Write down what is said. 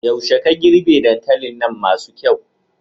Yaushe ka girbe dankalin nan masu kyau?